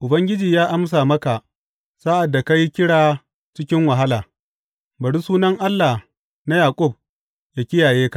Ubangiji ya amsa maka sa’ad da ka yi kira cikin wahala; bari sunan Allah na Yaƙub yă kiyaye ka.